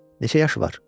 Neçə yaşı var?